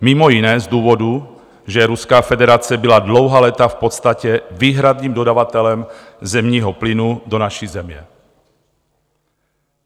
Mimo jiné z důvodů, že Ruská federace byla dlouhá léta v podstatě výhradním dodavatelem zemního plynu do naší země.